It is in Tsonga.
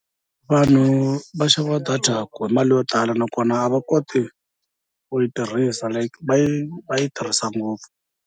Vanhu va xava data hi mali yo tala nakona a va koti ku yi tirhisa va yi va yi tirhisa ngopfu.